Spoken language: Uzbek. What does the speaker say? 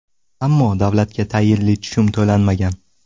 Ammo davlatga tayinli tushum to‘lanmagan.